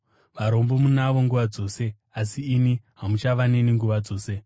Varombo munavo nguva dzose, asi ini hamuchava neni nguva dzose.